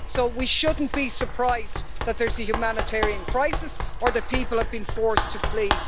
So we shouldn't be surprised that there's a humanitarian crisis, or that people have been forced to flee.